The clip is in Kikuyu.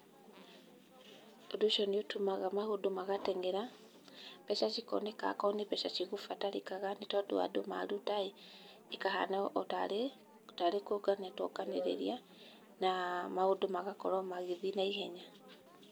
Ũndũ ũcio nĩ ũtũmaga maũndũ magateng'era, mbeca cikoneka akorwo nĩ mbeca cigũbatarĩkaga, nĩ tondũ andũ maruta ĩ, ĩkahana o ta arĩ nĩ kũngania twonganĩrĩria na maũndũ magakorwo magĩthĩi na ihenya.